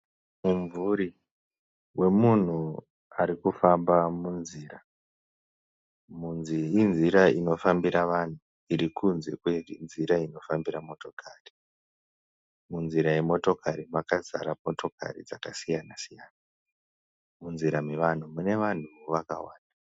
Mumvuri wemunhu ari kufamba munzira. Inzira inofambira vanhu iri kunze kwenzira inofambira motokari. Munzira yemotokari makazara motokari dzakasiyana-siyana. Munzira mevanhu mune vanhuwo vakawanda.